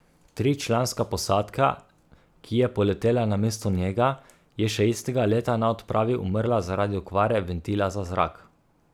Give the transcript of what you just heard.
Tričlanska posadka, ki je poletela namesto njega, je še istega leta na odpravi umrla zaradi okvare ventila za zrak.